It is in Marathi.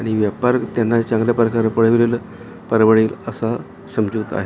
आणि व्यापार त्यांना चांगल्या प्रकारे परवडेल असा समजूत आहे.